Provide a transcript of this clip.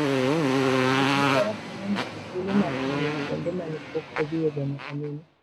Wuoth gi Faras miyo ng'ato thuolo mar ng'iyo kuonde ma ne pok odhiyega nyaka nene.